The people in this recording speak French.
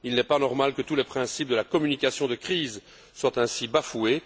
Il n'est pas normal que tous les principes de la communication de crise soient ainsi bafoués.